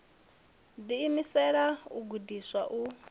ḓi imisela u gudiswa u